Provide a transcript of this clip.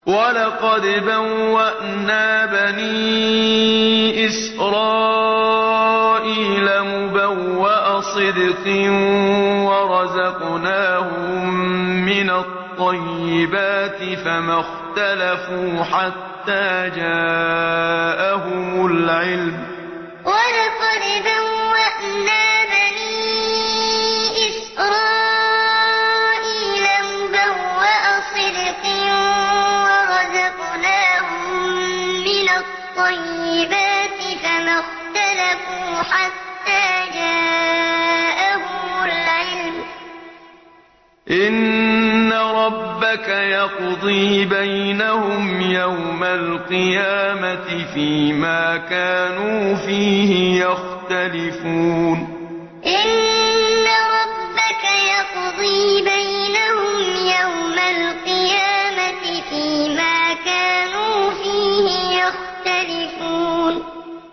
وَلَقَدْ بَوَّأْنَا بَنِي إِسْرَائِيلَ مُبَوَّأَ صِدْقٍ وَرَزَقْنَاهُم مِّنَ الطَّيِّبَاتِ فَمَا اخْتَلَفُوا حَتَّىٰ جَاءَهُمُ الْعِلْمُ ۚ إِنَّ رَبَّكَ يَقْضِي بَيْنَهُمْ يَوْمَ الْقِيَامَةِ فِيمَا كَانُوا فِيهِ يَخْتَلِفُونَ وَلَقَدْ بَوَّأْنَا بَنِي إِسْرَائِيلَ مُبَوَّأَ صِدْقٍ وَرَزَقْنَاهُم مِّنَ الطَّيِّبَاتِ فَمَا اخْتَلَفُوا حَتَّىٰ جَاءَهُمُ الْعِلْمُ ۚ إِنَّ رَبَّكَ يَقْضِي بَيْنَهُمْ يَوْمَ الْقِيَامَةِ فِيمَا كَانُوا فِيهِ يَخْتَلِفُونَ